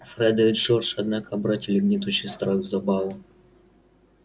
фред и джордж однако обратили гнетущий страх в забаву